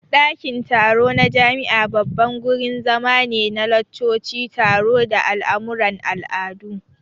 Dakin taro na jami'a babban gurin zama ne na laccoci, taro, da al'amuran al'adu.